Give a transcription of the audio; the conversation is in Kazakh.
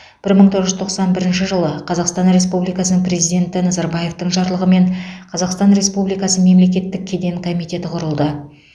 бір мың тоғыз жүз тоқсан бірінші жылы қазақстан республикасының президенті назарбаевтың жарлығымен қазақстан республикасы мемлекеттік кеден комитеті құрылды